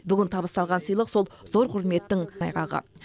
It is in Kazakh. бүгін табысталған сыйлық сол зор құрметтің айғағы